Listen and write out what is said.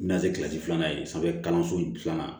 Na se kilasi filanan ye sanfɛ kalanso filanan na